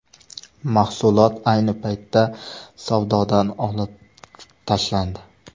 Mahsulot ayni paytda savdodan olib tashlandi.